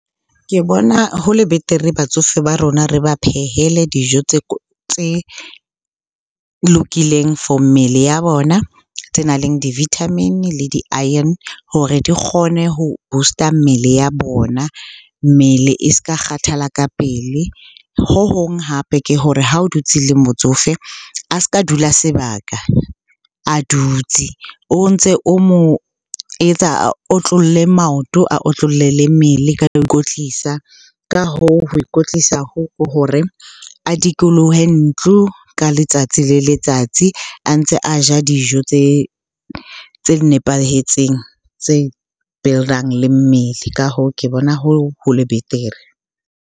Ke bona ho le betere batsofe ba rona re ba phehele dijo tse lokileng for mmele ya bona. Tse nang le d-vitamin-e le di-iron hore di kgone ho boost-a mmele ya bona, mmele e s'ka kgathala ka pele. Ho hong hape ke hore ha o dutse le motsofe a s'ka dula sebaka a dutse. O ntse o mo etsa a otlolle maoto, a otlolle le mmele ho ikwetlisa. Ka hoo, ho ikwetlisa hoo ke hore a dikolohe ntlo ka letsatsi le letsatsi a ntse a ja dijo tse nepahetseng, tse build-ang le mmele. Ka hoo, ke bona ho le betere.